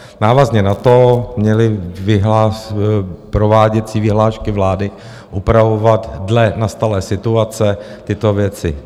Návazně na to měly prováděcí vyhlášky vlády upravovat dle nastalé situace tyto věci.